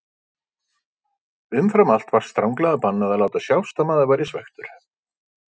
Umfram allt var stranglega bannað að láta sjást að maður væri svekktur.